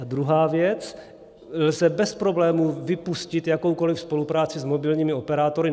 A druhá věc - lze bez problémů vypustit jakoukoliv spolupráci s mobilními operátory.